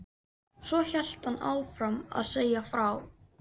Svo hélt hann áfram að segja frá.